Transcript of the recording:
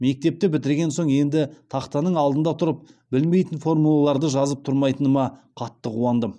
мектепті бітірген соң енді тақтаның алдында тұрып білмейтін формулаларды жазып тұрмайтыныма қатты қуандым